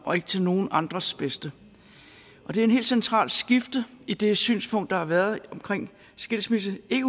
og ikke til nogen andres bedste det er et helt centralt skifte i det synspunkt der har været omkring skilsmisse ikke